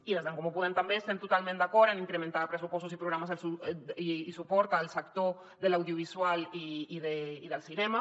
i des d’en comú podem també estem totalment d’acord en incrementar pressupostos i programes de suport al sector de l’audiovisual i del cinema